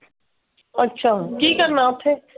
ਅੱਛਾ ਕਿ ਕਰਨਾ ਉੱਥੇ?